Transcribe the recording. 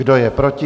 Kdo je proti?